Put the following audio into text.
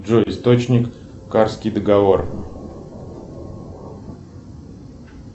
джой источник карский договор